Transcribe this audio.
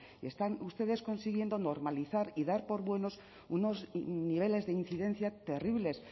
y están ustedes consiguiendo normalizar y dar por buenos unos niveles de incidencia terribles